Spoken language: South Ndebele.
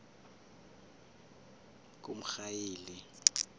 kumrhayili